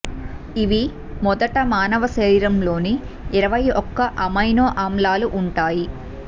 ఇవి మొదట మానవ శరీరంలోని ఇరవై ఒక్క అమైనో ఆమ్లాలు ఉంటాయి